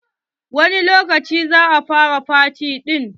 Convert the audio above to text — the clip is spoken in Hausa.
Wani lokaci za a fara faty ɗin?